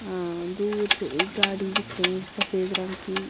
अ दूर से एक गाड़ी दिख रही है सफेद रंग की।